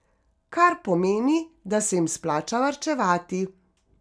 Kar pomeni, da se jim splača varčevati.